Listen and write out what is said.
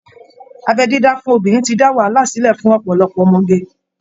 Abẹ́ dídá fún obìnrin ti dá wàhálà sílẹ̀ fún ọ̀pọ̀lọpọ̀ ọmọge